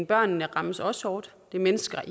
børnene rammes også hårdt det er mennesker